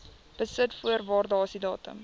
besit voor waardasiedatum